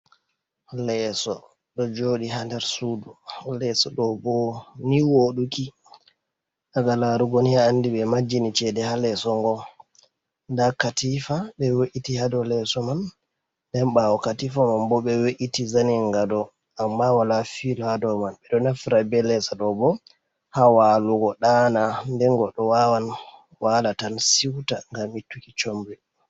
Leeso ɗo joɗi ha nder sudu, leeso ɗo bo ni woɗuki daga larugo ni a andi ɓe majini cede ha leeso ngo, nda katifa ɓe we’iti ha dou leeso man, den ɓawo katifa man bo ɓe we’iti zanin gado amma wala filo ha dou man, ɓeɗo naftira be leesa ɗo bo ha walugo ɗana, den goɗɗo wawan wala tan siuta ngam ittuki comri.